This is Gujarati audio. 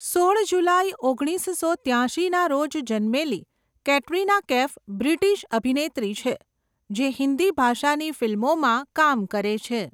સોળ જુલાઈ ઓગણીસસો ત્યાશીના રોજ જન્મેલી કેટરિના કૈફ બ્રિટિશ અભિનેત્રી છે જે હિન્દી ભાષાની ફિલ્મોમાં કામ કરે છે.